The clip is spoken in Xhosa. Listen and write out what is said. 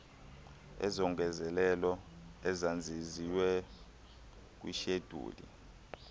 izongezelelo emazenziwe kwishedyuli